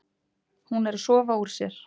Hún er að sofa úr sér.